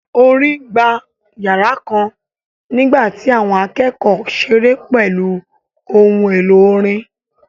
Orin gba yàrá kan nígbà tí àwọn akẹ́kọ̀ọ́ ṣeré pẹ̀lú ohun èlò orin